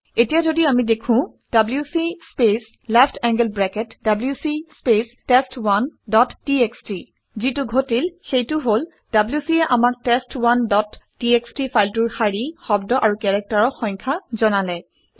এতিয়া যদি আমি লিখোঁ - WC space left angled bracket WC space test one dot TXT যিটো ঘটিল সেইটো হল - wc এ আমাক টেষ্ট1 ডট টিএক্সটি ফাইলটোৰ শাৰী শব্দ আৰু কেৰেক্টাৰৰ সংখ্যা জনালে